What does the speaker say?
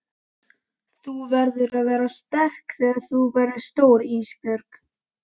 Þú verður að vera sterk þegar þú verður stór Ísbjörg.